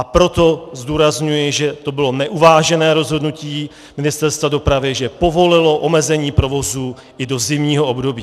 A proto zdůrazňuji, že to bylo neuvážené rozhodnutí Ministerstva dopravy, že povolilo omezení provozu i do zimního období.